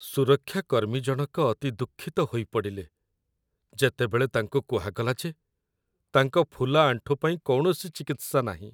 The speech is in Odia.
ସୁରକ୍ଷା କର୍ମୀ ଜଣକ ଅତି ଦୁଃଖିତ ହୋଇପଡ଼ିଲେ, ଯେତେବେଳେ ତାଙ୍କୁ କୁହାଗଲା ଯେ ତାଙ୍କ ଫୁଲା ଆଣ୍ଠୁ ପାଇଁ କୌଣସି ଚିକିତ୍ସା ନାହିଁ।